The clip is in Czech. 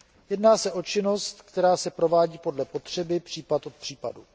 Jedná se činnost, která se provádí podle potřeby případ od případu.